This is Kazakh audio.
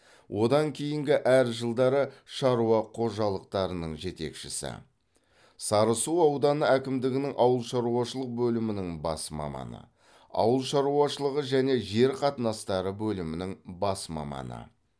одан кейінгі әр жылдары шаруа қожалықтарының жетекшісі сарысу ауданы әкімдігінің ауыл шаруашылық бөлімінің бас маманы ауыл шаруашылығы және жер қатынастары бөлімінің бас маманы